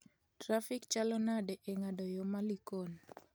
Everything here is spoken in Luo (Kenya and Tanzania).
trafik chalo nade e ng'ado yo ma Likon